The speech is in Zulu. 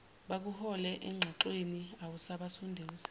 bakuhole engxoxweni awubasunduzi